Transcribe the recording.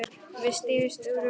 Við stigum út úr bílnum.